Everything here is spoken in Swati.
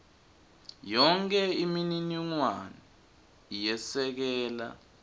yonkhe imininingwane yesekela